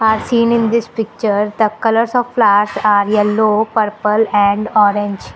Are seen in this picture the colours of flowers are yellow purple and orange.